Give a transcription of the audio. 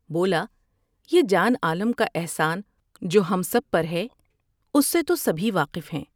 بولا یہ جان عالم کا احسان جو ہم سب پر ہے اس سے تو سبھی واقف ہیں ۔